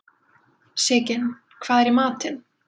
Sigyn, hvað er í matinn?